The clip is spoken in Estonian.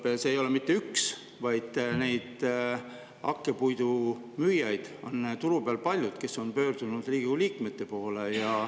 Praegu ei ole mitte üks firma, vaid neid hakkepuidu müüjaid on turu peal palju, kes on pöördunud Riigikogu liikmete poole.